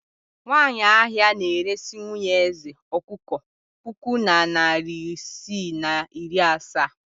Nwanyị ahịa na-eresi nwunye eze ọkụkọ puku na narị isii na iri asaa.